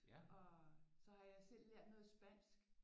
Og så har jeg selv lært noget spansk